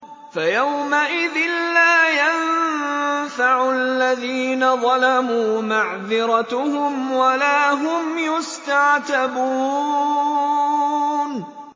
فَيَوْمَئِذٍ لَّا يَنفَعُ الَّذِينَ ظَلَمُوا مَعْذِرَتُهُمْ وَلَا هُمْ يُسْتَعْتَبُونَ